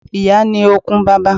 Ìyá ni okun bàbá.